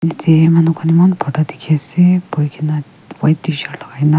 yate manu khan eman bhorta dikhi ase bohi kena white tshirt logai ke na.